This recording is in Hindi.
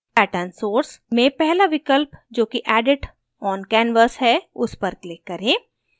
pattern source में पहला विकल्प जोकि edit oncanvas है उस पर click करें